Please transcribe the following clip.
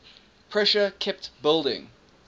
pressure kept building